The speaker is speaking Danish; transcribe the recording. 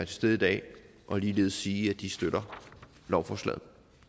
til stede i dag og ligeledes sige at de støtter lovforslaget